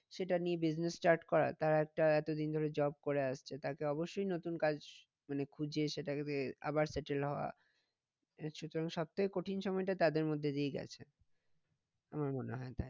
সেটা নিয়ে business start করা তারা একটা এতদিন ধরে job করে আসছে তাকে অবশ্যই নতুন কাজ মানে খুঁজে আবার settle হওয়া সব থেকে কঠিন সময়টা তাদের মধ্যে দিয়েই গেছে আমার মনে হয়